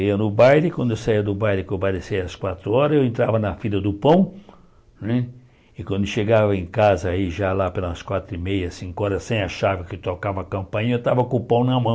Eu ia no baile, quando eu saía do baile, que o baile saia às quatro horas, eu entrava na fila do pão, né e quando chegava em casa, aí já lá pelas quatro e meia, cinco horas, sem a chave que tocava a campainha, eu estava com o pão na